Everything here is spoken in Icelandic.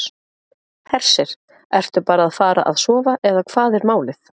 Hersir: Ertu bara að fara að sofa eða hvað er málið?